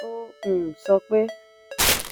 ó um sọ pé: